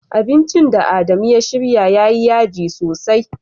Abincin da Adamu ya shirya yayi yaji sosai.